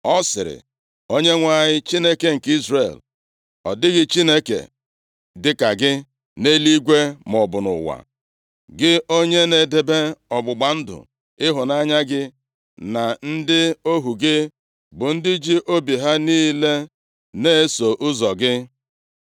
Ọ sịrị, “ Onyenwe anyị, Chineke nke Izrel, ọ dịghị Chineke dịka gị nʼeluigwe maọbụ nʼụwa. Gị onye na-edebe ọgbụgba ndụ ịhụnanya gị na ndị ohu gị, bụ ndị ji obi ha niile na-eso ụzọ gị.